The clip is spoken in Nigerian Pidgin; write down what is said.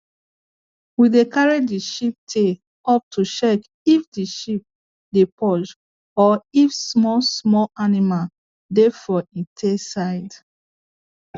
we dey carry the sheep tail up to check if the sheep dey purge or if small small animal dey for en tail side